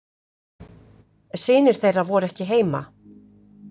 Synir þeirra voru ekki heima.